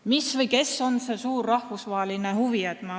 Mis või kes on see suur rahvusvaheline huvi?